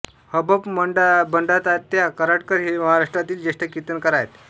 हभप बंडातात्या कराडकर हे महाराष्ट्रातील ज्येष्ठ कीर्तनकार आहेत